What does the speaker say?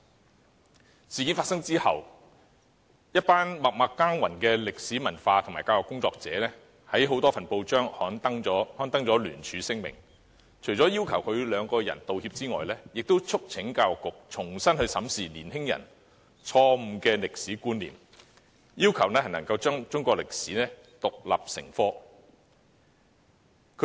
這事件發生後，"一群默默耕耘的歷史文化及教育工作者"在多份報章刊登聯署聲明，除了要求他們兩人道歉以外，亦促請教育局重新審視年輕人錯誤的歷史觀念，並要求規定中史獨立成科。